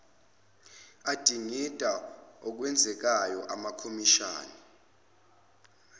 adingida okwenzekayo amakhomishani